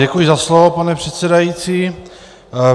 Děkuji za slovo, pane předsedající.